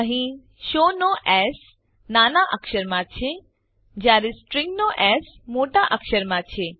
અહીં શો નો એસ નાના અક્ષરમાં છે જયારે સ્ટ્રીંગ નો એસ મોટા અક્ષરમાં છે